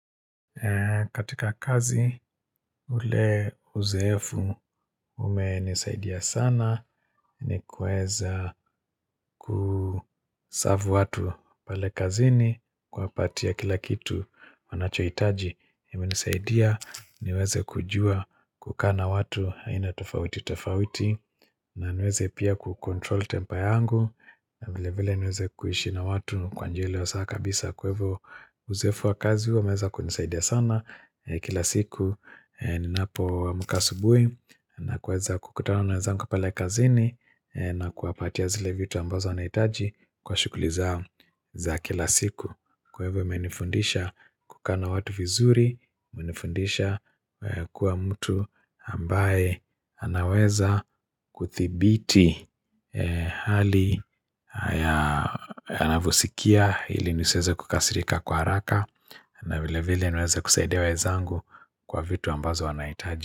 Katika kazi ule uzoefu umenisaidia sana ni kuweza kuserve watu pale kazini kuwapatia kila kitu wanachohitaji imenisaidia niweze kujua kukaa na watu aina tofauti tofauti na niweze pia kucontrol temper yangu vile vile niweze kuishi na watu kwa njia iliyo sawa kabisa kwa hivyo uzoefu wa kazi umeweza kunisaidia sana Kila siku ninapo amka asubuhi na kuweza kukutana na wezangu pale kazini na kuwapatia zile vitu ambazo wanahitaji kwa shughuli zangu za kila siku Kwa hivyo imenifundisha kukaa na watu vizuri imenifundisha kuwa mtu ambaye anaweza kuthibiti hali anavyosikia ili nisiweze kukasirika kwa haraka na vile vile niweze kusiidia wezangu kwa vitu ambazo wanahitaji.